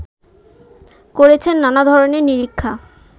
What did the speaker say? করেছেন নানাধরনের নিরীক্ষা